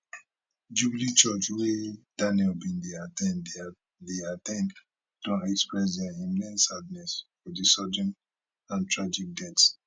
jubilee church wey daniel bin dey at ten d dey at ten d don express dia immense sadness for di sudden and tragic death